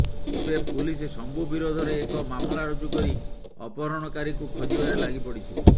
ଏବେ ପୁଲିସ ଶମ୍ଭୁ ବିରୋଧରେ ଏକ ମାମଲା ରୁଜୁ କରି ଅପହରଣକାରୀକୁ ଖୋଜିବାରେ ଲାଗିପଡିଛି